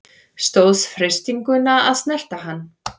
Stóðst freistinguna að snerta hann